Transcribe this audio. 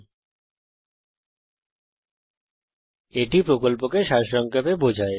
এটি কথ্য টিউটোরিয়াল প্রকল্পকে সারসংক্ষেপে বোঝায়